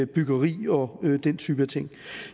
byggeri og den type ting